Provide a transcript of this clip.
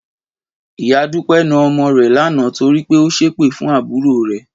Ìyá Dúpẹ́ na ọmọ rẹ̀ lánàá torí pé ó ṣépè fún àbúrò rẹ̀